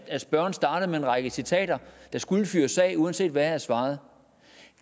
spørgeren startede med en række citater der skulle fyres af uanset hvad jeg svarede